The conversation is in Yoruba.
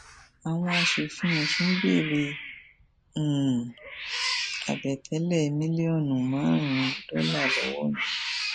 àwọn aṣòfin ọsún béèrè um àbẹtẹlẹ mílíọnù márùnún dọlà lọwọ mi